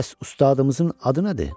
Bəs ustadımızın adı nədir?